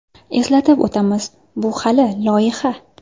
Eslatib o‘tamiz, bu hali loyiha.